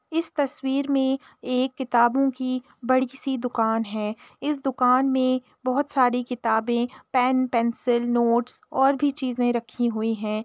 इस तस्वीर में एक किताबों की बड़ी सी दुकान है इस दुकान में बहुत सारी किताबें पेन पेंसिल नोटिस और भी चीजें रखीं हुईं हैं।